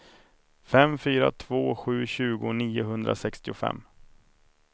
fem fyra två sju tjugo niohundrasextiofem